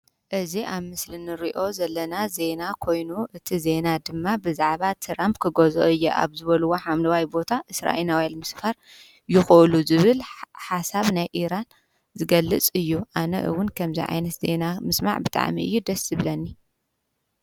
እዚ አብ ምስሊ ንሪኦ ዘለና ዜና ኮይኑ እቲ ዜና ድማ ብዛዕባ ትራምኘ ክገዝኦ እየ አብ ዝበልዎ ሓምለዋይ ቦታ እስራኤላውያን ምስፋር ይኽእሉ ዝብል ሓሳብ ናይ ኢራን ዝገልፅ እዩ። አነ እውን ከምዚ ዓይነት ዜና ምስማዕ ብጣዕሚ እዩ ደስ ዝብለኒ።